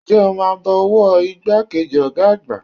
Ǹjẹ́ o máa bọ ọwọ́ ìgbà kejì ọ̀gá àgbà?